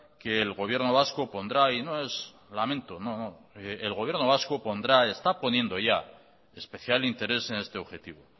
que el gobierno vasco pondrá y no es lamento no y está poniendo ya especial interés en este objetivo